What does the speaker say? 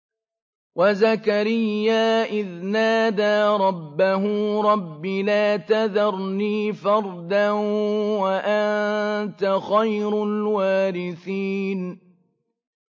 وَزَكَرِيَّا إِذْ نَادَىٰ رَبَّهُ رَبِّ لَا تَذَرْنِي فَرْدًا وَأَنتَ خَيْرُ الْوَارِثِينَ